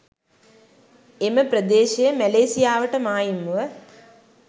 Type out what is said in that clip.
එම ප්‍රදේශය මැලේසියාවට මායිම්ව